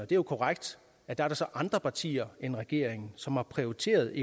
det jo korrekt at der så er andre partier end regeringen som har prioriteret